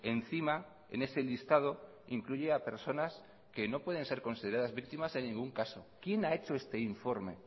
encima en ese listado incluye a personas que no pueden ser consideradas víctimas en ningún caso quién ha hecho este informe